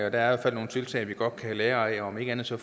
i hvert fald nogle tiltag vi godt kan lære af om ikke andet så